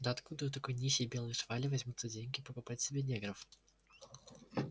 да откуда у такой нищей белой швали возьмутся деньги покупать себе негров